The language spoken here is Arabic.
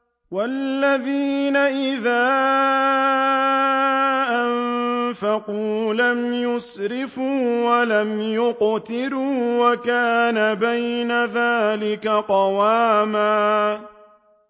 وَالَّذِينَ إِذَا أَنفَقُوا لَمْ يُسْرِفُوا وَلَمْ يَقْتُرُوا وَكَانَ بَيْنَ ذَٰلِكَ قَوَامًا